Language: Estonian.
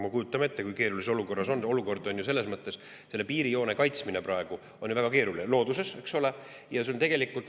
Me kujutame ju ette, kui keeruline see olukord on – selles mõttes, et piirijoone kaitsmine on ju looduses praegu väga keeruline.